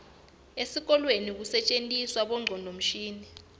etikolweni kusetjentiswa bongcondvomshini